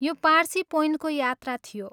यो पार्सी पोइन्टको यात्रा थियो।